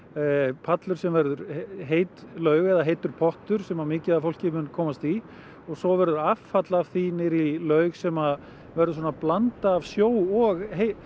pallur sem verður heit laug eða heitur pottur sem mikið af fólki mun komast í svo verður affall af því niður í laug sem verður blanda af sjó og